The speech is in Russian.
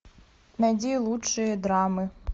найди лучшие драмы